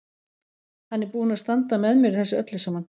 Hann er búinn að standa með mér í þessu öllu saman.